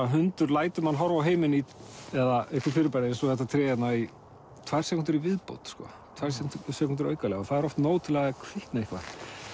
hundur lætur mann horfa á heiminn eða einhver fyrirbæri eins og þetta tré hérna í tvær sekúndur í viðbót tvær sekúndur aukalega og það er oft nóg til að það kvikni eitthvað